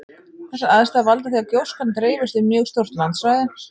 Þessar aðstæður valda því að gjóskan dreifist um mjög stórt landsvæði.